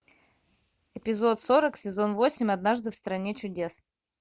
эпизод сорок сезон восемь однажды в стране чудес